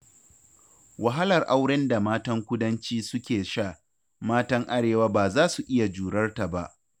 Wahalar auren da matan kudanci suke sha, matan arewa ba za su iya jurar ta ba